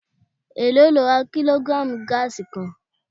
Èló lo ra kílógírààmù gáàsì kan?